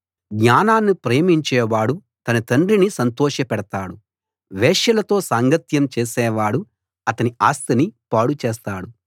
జ్ఞానాన్ని ప్రేమించేవాడు తన తండ్రిని సంతోషపెడతాడు వేశ్యలతో సాంగత్యం చేసేవాడు అతని ఆస్తిని పాడుచేస్తాడు